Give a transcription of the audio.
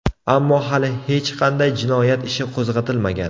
Ammo hali hech qanday jinoyat ishi qo‘zg‘atilmagan.